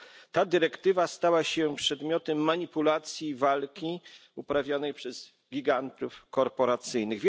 Ta dyrektywa stała się przedmiotem manipulacji i walki uprawianej przez gigantów korporacyjnych.